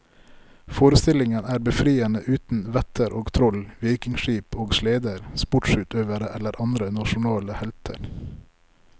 Forestillingen er befriende uten vetter og troll, vikingskip og sleder, sportsutøvere eller andre nasjonale helter.